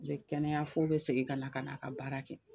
A be kɛnɛya f'o be segin ka na ka n'a ka baara kɛ